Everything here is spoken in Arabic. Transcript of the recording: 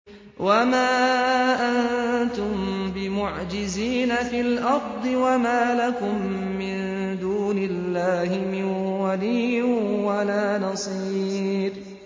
وَمَا أَنتُم بِمُعْجِزِينَ فِي الْأَرْضِ ۖ وَمَا لَكُم مِّن دُونِ اللَّهِ مِن وَلِيٍّ وَلَا نَصِيرٍ